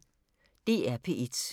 DR P1